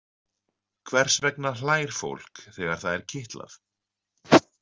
Hvers vegna hlær fólk þegar það er kitlað?